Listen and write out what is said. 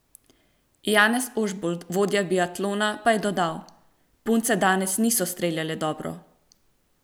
Janez Ožbolt, vodja biatlona pa je dodal: "Punce danes niso streljale dobro.